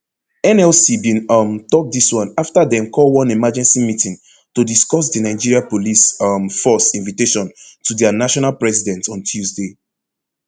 nlc bin um tok dis one afta dem call one emergency meeting to discuss di nigeria police um force invitation to dia national president on tuesday